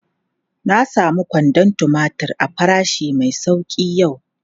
Na samu kwandon tumatir a farashi mai sauki yau.